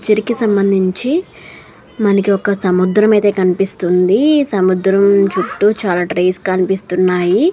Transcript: చర్ కి సంబంధించి మనకి ఒక సముద్రం అయితే కనిపిస్తుంది. ఈ సముద్రం చుట్టూ చాలా ట్రీస్ కనిపిస్తున్నాయి.